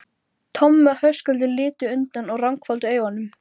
en hjuggu saman eggjum þar til þreytan svæfði báða.